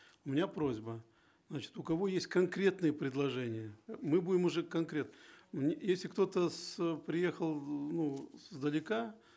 у меня просьба значит у кого есть конкретные предложения э мы будем уже если кто то приехал ну издалека